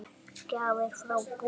Gjafir frá Búddu.